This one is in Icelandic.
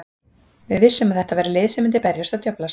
Við vissum að þetta væri lið sem myndi berjast og djöflast.